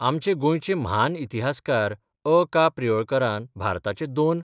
आमचे गोंयचे म्हान इतिहासकार अ का प्रियोळकारान 'भारताचे दोन